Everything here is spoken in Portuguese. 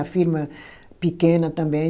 A firma pequena também.